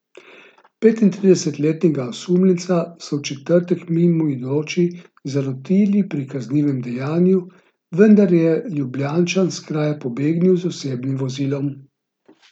Petintridesetletnega osumljenca so v četrtek mimoidoči zalotili pri kaznivem dejanju, vendar je Ljubljančan s kraja pobegnil z osebnim vozilom.